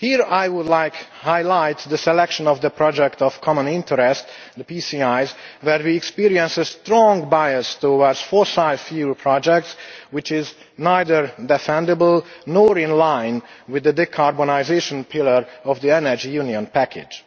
I would like to highlight the selection of projects of common interest PCI's where we experience a strong bias towards fossil fuel projects, which is neither defendable nor in line with the decarbonisation pillar of the energy union package.